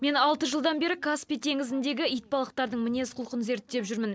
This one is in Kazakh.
мен алты жылдан бері каспий теңізіндегі итбалықтардың мінез құлқын зерттеп жүрмін